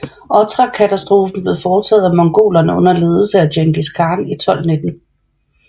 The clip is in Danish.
Otrarkatastrofen blev foretaget af mongolerne under ledelse af Djengis Khan i 1219